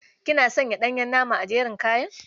Kina sanya ɗanyen nama a jerin kayan.